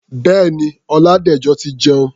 Bẹ́ẹ̀ni, Ọládẹ̀jọ ti jẹun.